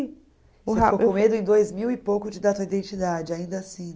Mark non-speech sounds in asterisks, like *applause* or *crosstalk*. *unintelligible* com medo em dois mil e pouco de dar sua identidade, ainda assim.